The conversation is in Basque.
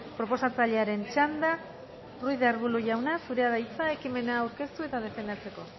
proposatzailearen txanda ruiz de arbulo jauna zurea da hitza ekimena aurkeztu eta defendatzeko